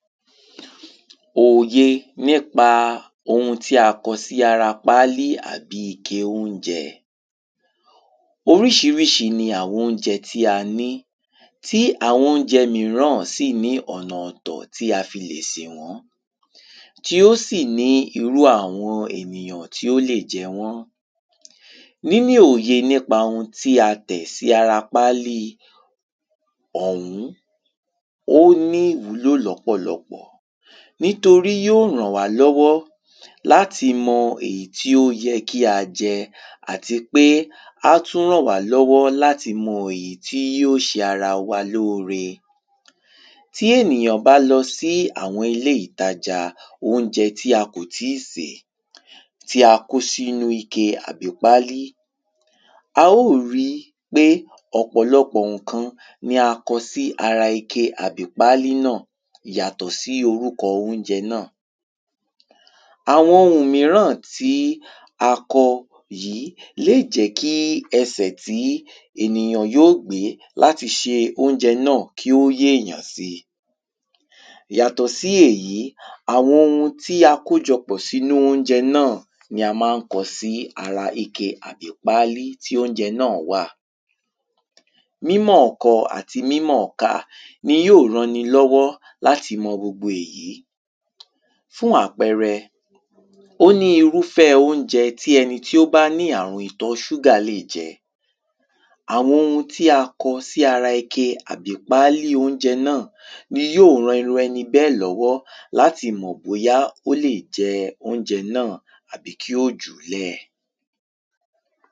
òye nípa ohun tí a kọ sí ara pálì àbí ike óunjẹ. oríṣiríṣi ni àwọn óunjẹ tí a ní, tí àwọn óunjẹ míràn sì ní ọ̀nà ọ̀tọ̀ tí a fi lè sè wọ́n, tí ó sì ní irú àwọn ènìyàn tí ó lè jẹ wọ́n. níní òye nípa ohun tí a tẹ̀ sí ara páli ọ̀ún, ó ní ìwúlò lọ́pọ̀lọpọ̀, nítorí yíò rànwálọ́wọ́ láti mọ èyí tí ó yẹ kí a jẹ, àti pé á tún rànwálọ́wọ́ láti mọ èyí tí yíò ṣe ara wa lóore. tí ènìyàn bá lọ sí àwọn ilé-ìtajàa óunjẹ tí a kòtíìsè tí a kó sínú ike tàbí pálí, a ó ri pé ọ̀pọ̀lọpọ̀ òkan ni a kọ̀ sí ara ike àbí pálí náà yàtọ̀ sí orúkọ óunjẹ náà. àwọn ohùn míràn tí a kọ yìí lè jẹ́ kí ẹsẹ̀ tí ènìyàn yíò gbé láti ṣe óunjẹ náà kí ó yé èyàn si. yàtọ̀ sí èyí, àwọn ohun tí a kójọpọ̀ sínú óunjẹ náà ni a mán kọ sí ara ike àbí pálí tí óunjẹ náà wà. mímọ̀ọ́kọ àti mímọ̀ọ́kà ni yíò ran ni lọ́wọ́ láti mọ gbogbo èyí. fún àpẹrẹ; ó ní irúfẹ́ óunjẹ tí ẹni tí ó bá ní àrun ìtọ ṣúgà lè jẹ. àwọn ohun tí a kọ sí ara ike àbí pálí óunjẹ náà ni yíò ran irú ẹni bẹ́ẹ̀ lọ́wọ́ láti mọ̀ bóyá ó lè jẹ óunjẹ náà àbí kí ó jùúlẹ̀.